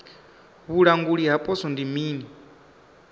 vhulanguli ha poswo ndi mini